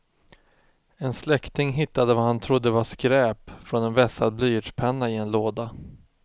En släkting hittade vad han trodde var skräp från en vässad blyertspenna i en låda.